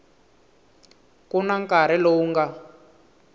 ku na nkarhi lowu nga